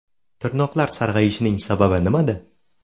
Tirnoqlar sarg‘ayishining sababi nimada?.